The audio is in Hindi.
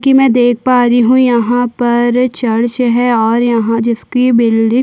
की मै देख पा रही हूँ यहाँ पर चर्च है और यहाँ जिसकी बिल्डिंग --